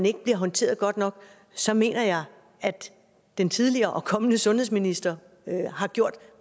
ikke bliver håndteret godt nok så mener jeg at den tidligere og kommende sundhedsminister har gjort